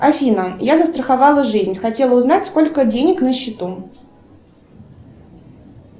афина я застраховала жизнь хотела узнать сколько денег на счету